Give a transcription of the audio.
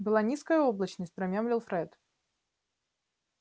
была низкая облачность промямлил фред